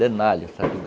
De nylon